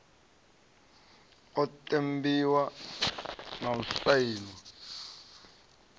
u ṱempiwa na u sainwa